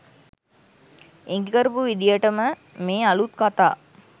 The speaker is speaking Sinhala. ඉඟිකරපු විදියටම මේ අලුත් කතා